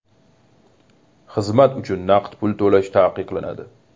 Xizmat uchun naqd pul to‘lash taqiqlanadi.